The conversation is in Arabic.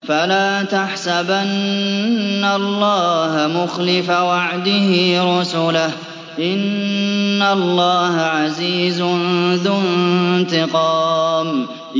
فَلَا تَحْسَبَنَّ اللَّهَ مُخْلِفَ وَعْدِهِ رُسُلَهُ ۗ إِنَّ اللَّهَ عَزِيزٌ ذُو انتِقَامٍ